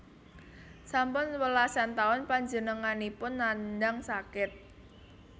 Sampun welasan taun panjenenganipun nandhang sakit